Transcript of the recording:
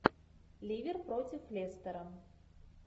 ливер против лестера